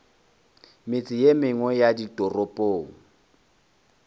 metse ye mengwe ya ditoropong